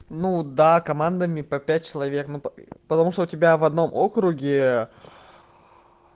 ну да командами по пять человек потому что у тебя в одном округе